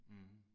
Mh